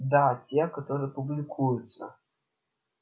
да те которые публикуются